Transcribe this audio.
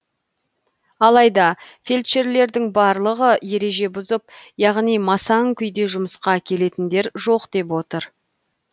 алайда фельдшерлердің барлығы ереже бұзып яғни масаң күйде жұмысқа келетіндер жоқ деп отыр